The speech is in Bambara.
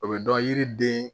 O bɛ dɔn yiriden